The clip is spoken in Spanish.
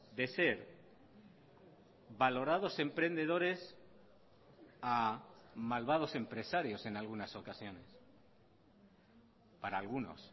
de ser valorados emprendedores a malvados empresarios en algunas ocasiones para algunos